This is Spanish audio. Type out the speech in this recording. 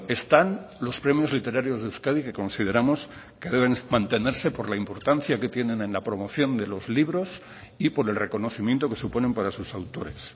están los premios literarios de euskadi que consideramos que deben mantenerse por la importancia que tienen en la promoción de los libros y por el reconocimiento que suponen para sus autores